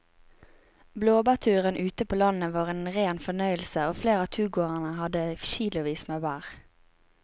Blåbærturen ute på landet var en rein fornøyelse og flere av turgåerene hadde kilosvis med bær.